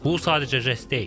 Bu sadəcə jest deyil.